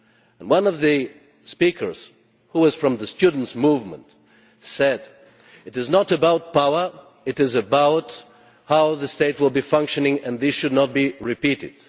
As one of the speakers from the students' movement said, it is not about power, but about how the state will be functioning, and this should not be repeated.